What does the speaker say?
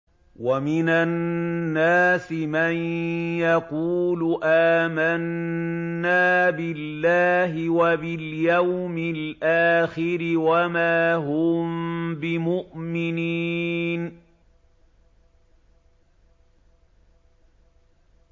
وَمِنَ النَّاسِ مَن يَقُولُ آمَنَّا بِاللَّهِ وَبِالْيَوْمِ الْآخِرِ وَمَا هُم بِمُؤْمِنِينَ